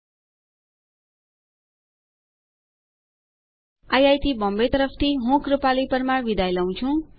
IIT Bombay તરફ થી ભાષાંતર કરનાર હું કૃપાલી પરમાર વિદાય લઉં છું